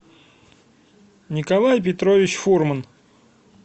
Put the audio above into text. николай петрович фурман